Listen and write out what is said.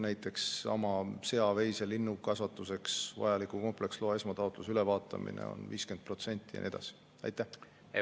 Näiteks seesama sea-, veise-, linnukasvatuseks vajaliku kompleksloa esmataotluse ülevaatamine on ja nii edasi.